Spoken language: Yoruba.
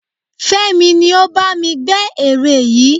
Fémi ni ó bá mi gbẹ́ ère yìí